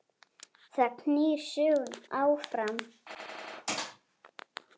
Það knýr söguna áfram